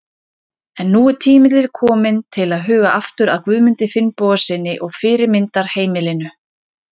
En nú er tími til kominn til að huga aftur að Guðmundi Finnbogasyni og fyrirmyndarheimilinu.